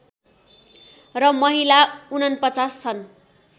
र महिला ४९ छन्